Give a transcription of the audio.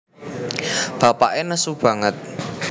Bapaké nesu banget